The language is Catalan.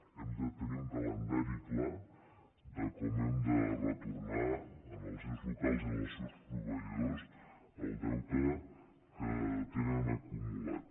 hem de tenir un calendari clar de com hem de retornar als ens locals i als seus proveïdors el deute que tenen acumulat